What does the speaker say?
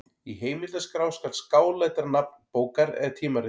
Í heimildaskrá skal skáletra nafn bókar eða tímarits.